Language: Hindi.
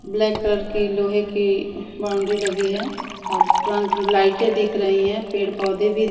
ब्लैक कलर की लोहे की बाउंड्री लगी है और तुरंत लाइटें दिख रही हैं पेड़ पौधे भी--